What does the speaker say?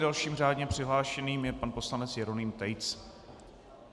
Dalším řádně přihlášeným je pan poslanec Jeroným Tejc.